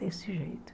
Desse jeito.